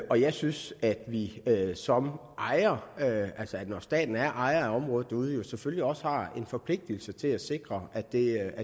og jeg synes at vi som ejere altså når staten er ejer af området derude selvfølgelig også har en forpligtigelse til at sikre at der